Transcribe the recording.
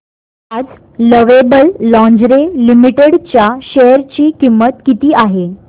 आज Lovable Lingerie Limited च्या share ची किंमत किती आहे